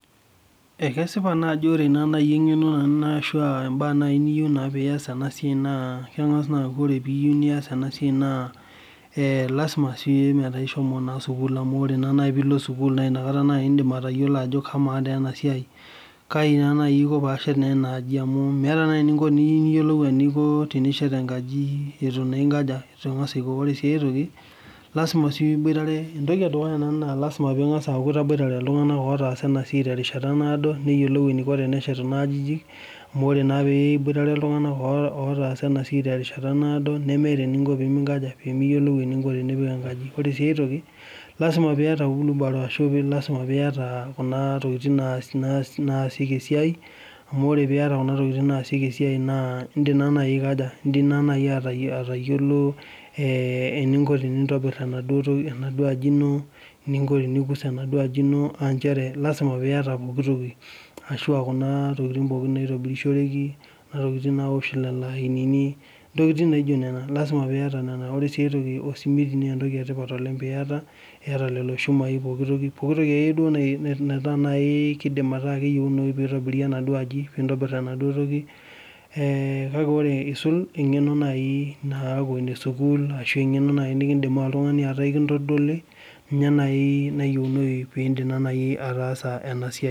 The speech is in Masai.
Kesipa ajo ore naaji engeno ashu mbaa niyieu pee iyas ena siai naa kengas aaku ore pee iyieu niyas ena siai naa lasima naa pee ingas alo sukul, amu ore naaji pee ilo sukul naa inakata naaji indim atayiolo ajo kama taa ena siai kaji naaji aiko pee ashet enaji amu meeta naa naji eninko pee iyiolou atesheta enkaji eitu naa ingas aiko. Ore sii aitoki, naa lasima pee eku itangasa aboitare iltunganak otaasa ena siai terishata naado neyiolou eniko teneshet kuna ajijik ,amu ore naa pee iboitare iltunganak otaasa ena siai terishata naado nemeeta eninko pee miyiolou eninko tenipik enkaji. Ore sii aitoki, lasima pee iyata wheelbarrow ashu kuna tokiting naasieki esiai, amu ore pee iyata kuna tokiting naasieki esiai naa indim naa atayiolo eninko tenintobir enaduo aji ino, eninko tenikus enaduo aji ino aa lasima pee iyata pooki toki ashu kuna tokiting naitobiroshoreki, Kuna tokiting naosh lainini ,ntokiting naijo nena. Lasima pee iyata enan ,ore sii aitoki naa osimiti lasima pee iyata niyata lelo shumai, pooki toki akeyie naidim ataasa keyieunoyu pee eitobiri enaduo aji .Kake ore eisul engeno naaji naaku enesukuul ashu engeno naaji naidim oltungani ataa ekintodoli ninye naaji nayiunoyu pee indim naaji ataasa ena siai.